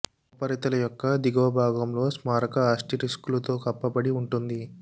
ఉపరితల యొక్క దిగువ భాగంలో స్మారక ఆస్టరిస్క్లు తో కప్పబడి ఉంటుంది